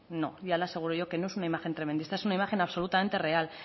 no ya le aseguro yo que no es una imagen tremendista es una imagen absolutamente real